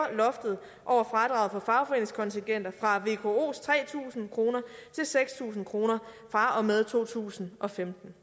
og at fradrag for fagforeningskontingenter fra vkos tre tusind kroner til seks tusind kroner fra og med to tusind og femten